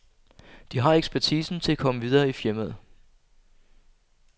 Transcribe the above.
De har ekspertisen til at komme videre i firmaet.